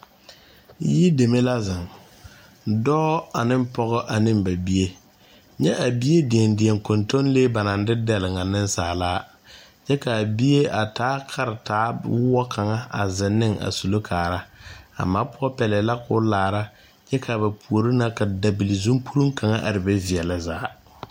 Yideme la zeŋ dɔɔ aneŋ pɔgɔ aneŋ ba bie nyɛ a bie deɛdeɛ kɔntɔnlee ba naŋ de dɛlle a ŋa neŋsaalaa kyɛ kaa bie a taa karetaa woɔ kaŋa a zeŋ ne a sullo kaara a ma poɔ pɛlɛɛ la koo laara kyɛ kaa ba puore na ka dabilezunporuŋ kaŋa araa be veɛlɛ zaa.